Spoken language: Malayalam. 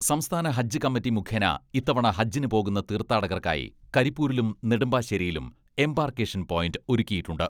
സംസ്ഥാന ഹജ്ജ് കമ്മിറ്റി മുഖേന ഇത്തവണ ഹജ്ജിന് പോകുന്ന തീർഥാടകർക്കായി കരിപ്പൂരിലും നെടുമ്പാശ്ശേരിയിലും എംബാർക്കേഷൻ പോയിന്റ് ഒരുക്കിയിട്ടുണ്ട്.